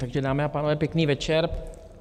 Takže, dámy a pánové, pěkný večer.